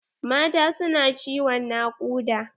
Mata su na ciwon nakuɗa.